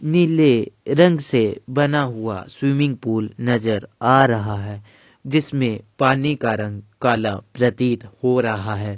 नीले रंग से बना हुआ स्विमिंग पूल नजर आ रहा है। जिसमें पानी का रंग काला प्रतीत हो रहा है।